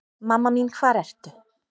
Mamma mín hvar ertu?